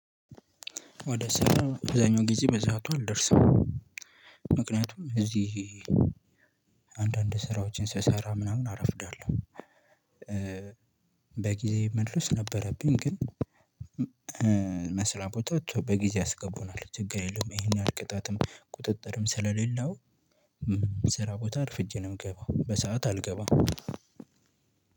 ወደ ስራ አብዛኛው ጊዜ በሰአቱ አልደርሰም። ምክንያቱም እዚህ አንዳንድ ስራዎችን ስሰራ ምናምን አረፍዳለሁ። በጊዜ መድረስ ነበረብኝ ግን። መስሪያ ቤቶች በጊዜ ያስገቡናል ችግር የለውም ይሄን ይህል ቅጣትም ቁጥጥርም ስለሌለው። ስራ ቦታ አርፍጄ ነው የምገባው በሰአት አልገባም።